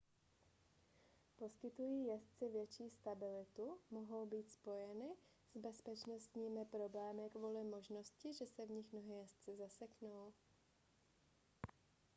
poskytují jezdci větší stabilitu mohou ale být spojeny s bezpečnostními problémy kvůli možnosti že se v nich nohy jezdce zaseknou